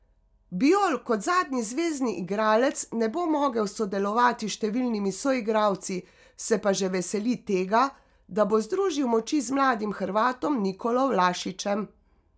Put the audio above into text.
Bijol kot zadnji zvezni igralec ne bo mogel sodelovati s številnimi soigralci, se pa že veseli tega, da bo združil moči z mladim Hrvatom Nikolo Vlašićem.